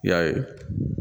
I y'a ye